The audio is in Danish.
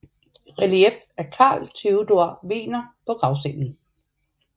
Relief af Carl Theodor Wegener på gravstenen